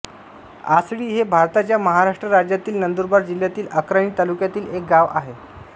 आसळी हे भारताच्या महाराष्ट्र राज्यातील नंदुरबार जिल्ह्यातील अक्राणी तालुक्यातील एक गाव आहे